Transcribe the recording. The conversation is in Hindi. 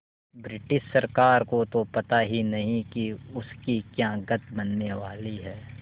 रिटिश सरकार को तो पता ही नहीं कि उसकी क्या गत बनने वाली है